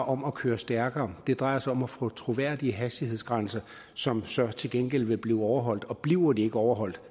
om at køre stærkere det drejer sig om at få troværdige hastighedsgrænser som så til gengæld vil blive overholdt og bliver de ikke overholdt